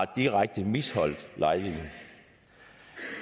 direkte har misligholdt lejligheden